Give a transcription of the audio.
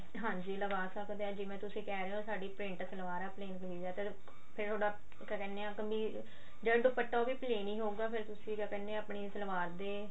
ਹਾਂਜੀ ਲਗਾ ਸਕਦੇ ਹਾਂ ਜਿਵੇਂ ਤੁਸੀਂ ਕਿਹ ਰਹੇ ਹੋ ਸਾਡੀ ਪ੍ਰਿੰਟ ਸਲਵਾਰ ਆ plain ਕਮੀਜ਼ ਆ ਫੇਰ ਤੁਹਾਡਾ ਕਿਆ ਕਹਿੰਦੇ ਜਿਹੜਾ ਦੁਪੱਟਾ ਉਹ ਵੀ plain ਹੀ ਹੋਊਗਾ ਫੇਰ ਤੁਸੀਂ ਕਿਆ ਕਹਿਨੇ ਆ ਆਪਣੀ ਸਲਵਾਰ ਦੇ